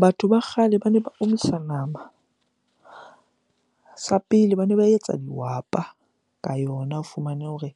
Batho ba kgale bane ba omisa nama. Sa pele bane ba etsa dihwapa ka yona, o fumane hore